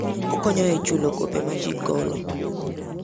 Okonyo e chulo gope ma ji golo.